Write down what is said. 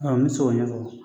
Ɔ n bɛ se k'o ɲɛfɔ.